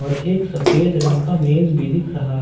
एक सफेद रंग का मेज भी दिख रहा है।